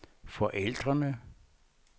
forældrene